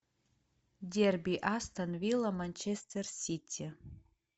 дерби астон вилла манчестер сити